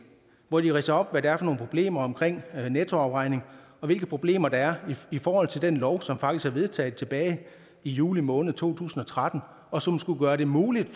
hvor de ridser op hvad det er for nogle problemer omkring nettoafregning og hvilke problemer der er i forhold til den lov som faktisk er vedtaget tilbage i juli måned to tusind og tretten og som skulle gøre det muligt